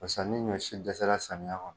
Paseke hali ni ɲɔ si dɛsɛla samiya kɔnɔ.